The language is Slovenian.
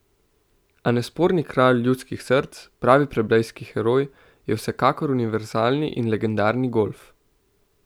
A nesporni kralj ljudskih src, pravi plebejski heroj, je vsekakor univerzalni in legendarni golf.